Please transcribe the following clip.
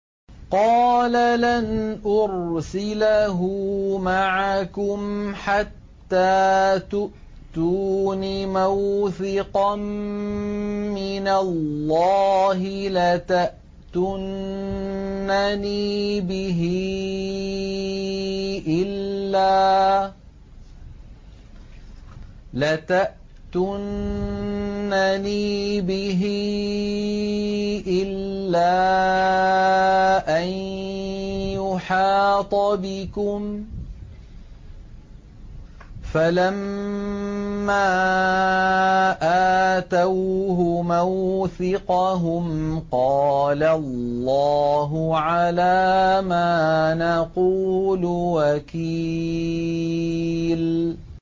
قَالَ لَنْ أُرْسِلَهُ مَعَكُمْ حَتَّىٰ تُؤْتُونِ مَوْثِقًا مِّنَ اللَّهِ لَتَأْتُنَّنِي بِهِ إِلَّا أَن يُحَاطَ بِكُمْ ۖ فَلَمَّا آتَوْهُ مَوْثِقَهُمْ قَالَ اللَّهُ عَلَىٰ مَا نَقُولُ وَكِيلٌ